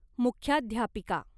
मुख्याध्यापिका